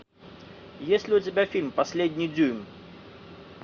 есть ли у тебя фильм последний дюйм